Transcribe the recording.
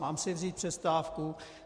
Mám si vzít přestávku?